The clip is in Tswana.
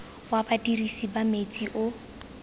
wa badirisi ba metsi o